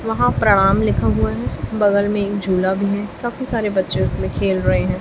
वहां प्रणाम लिखा हुआ है बगल में एक झूला भी है काफी सारे बच्चे उसमें खेल रहे हैं।